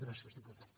gràcies diputat